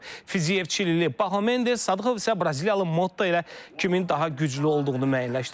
Fiziyev Çilili Pahlav Mendes, Sadıqov isə Braziliyalı Motto ilə kimin daha güclü olduğunu müəyyənləşdirəcək.